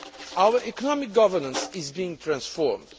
Our economic governance is being transformed.